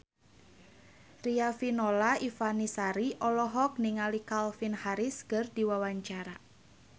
Riafinola Ifani Sari olohok ningali Calvin Harris keur diwawancara